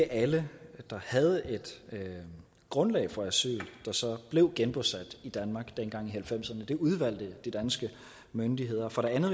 alle der havde et grundlag for asyl der så blev genbosat i danmark dengang i nitten halvfemserne dem udvalgte de danske myndigheder for det andet